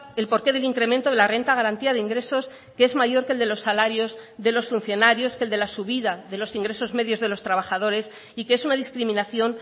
el porqué del incremento de la renta de garantía de ingresos que es mayor que el de los salarios de los funcionarios que el de la subida de los ingresos medios de los trabajadores y que es una discriminación